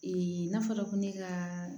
n'a fɔra ko ne ka